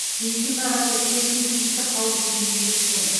бензин бағасы үкіметтің тиісті қаулысымен бекітілген